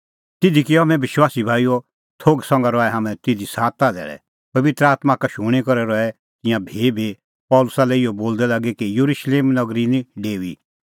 तिधी किअ हाम्हैं विश्वासी भाईओ थोघ संघा रहै हाम्हैं तिधी सात धैल़ै पबित्र आत्मां का शूणीं करै रहै तिंयां भीभी पल़सी लै इहअ बोलदै लागी कि येरुशलेम नगरी निं डेऊई